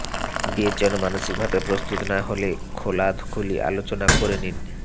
বিয়ের জন্য মানসিকভাবে প্রস্তুত না হলে খোলাখুলি আলোচনা করে নিন